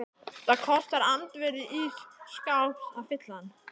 Það kostar andvirði ís skáps að fylla hann.